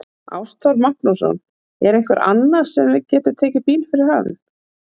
Ástþór Magnússon: Er einhver annar við sem getur tekið við bíl fyrir hann?